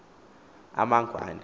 amangwane